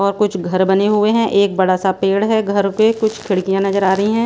और कुछ घर बने हुए हैं एक बड़ा सा पेड़ हैं घर पे कुछ खिड़कियां नजर आ रही हैं।